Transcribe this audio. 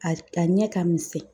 A a ɲɛ ka misɛn